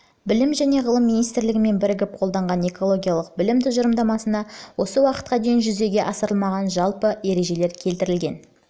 білім және ғылым министрлігімен бірігіп қабылданған экологиялық білім тұжырымдамасында осы уақытқа дейін жүзеге асырылмаған жалпы ережелер келтірілген